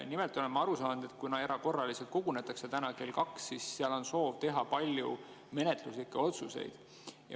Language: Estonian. Nimelt olen ma aru saanud, et kuna kogunetakse erakorraliselt täna kell 2, siis seal on soov teha palju menetluslikke otsuseid.